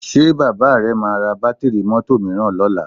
Ṣé bàbá rẹ máa ra bátíìrì mọ́tò mìíràn lọ́la?